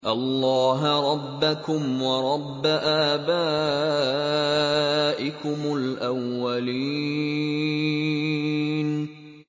اللَّهَ رَبَّكُمْ وَرَبَّ آبَائِكُمُ الْأَوَّلِينَ